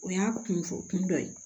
O y'a kunfɔ kundɔ ye